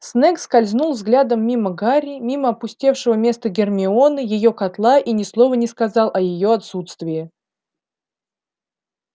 снегг скользнул взглядом мимо гарри мимо опустевшего места гермионы её котла и ни слова не сказал о её отсутствии